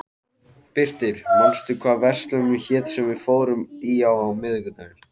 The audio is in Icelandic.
Birtir, manstu hvað verslunin hét sem við fórum í á miðvikudaginn?